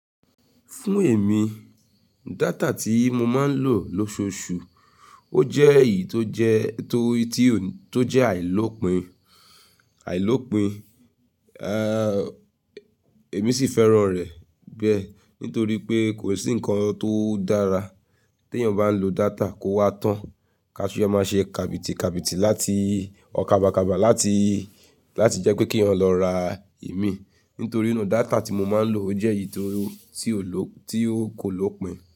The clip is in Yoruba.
Fún èmi, data tí mo máa ń lò lóṣooṣù, ó jẹ́ èyí tó jẹ́, tó, tí ó, tó jẹ́ àìlópin, àìlópin. Eeuh, èmi sì fẹ́ràn rẹ̀ bẹ́ẹ́ nítorí pé kò sí nǹkan tó dára tí èèyàn bá ń lò data kó wá tán. Ká ṣe ẹ máa ṣe kàbìtìkàbìtì láti, ọ́, kàbàkàbà láti, láti jẹ́ pé kí èèyàn lọ ra ẹ̀mí. Nítorí náà data tí mo máa ń lò ó jẹ́ èyí tó, tí ò ló, tí ó kò lópín.